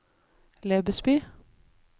Lebesby